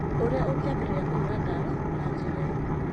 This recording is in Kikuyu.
Ũrĩa ũngĩambĩrĩria kũhũũra ndawa na njĩra ĩyo: